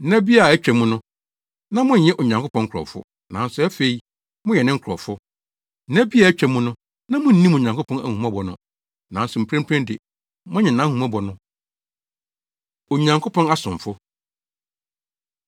Nna bi a atwa mu no, na monyɛ Onyankopɔn nkurɔfo, nanso afei moyɛ ne nkurɔfo; nna bi a atwa mu no, na munnim Onyankopɔn ahummɔbɔ no, nanso mprempren de, moanya nʼahummɔbɔ no. Onyankopɔn Asomfo